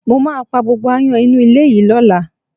Mo máa pá gbogbo aáyán inú ilé yìí lọ́la